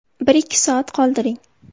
Bir-ikki soat qoldiring.